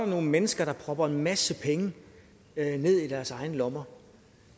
nogle mennesker der propper en masse penge ned i deres egne lommer